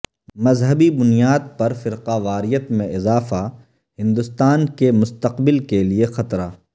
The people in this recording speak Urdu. مذہبی بنیاد پرفرقہ واریت میں اضافہ ہندوستان کے مستقبل کے لیے خطرہ